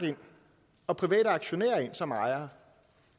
og private aktionærer ind som ejere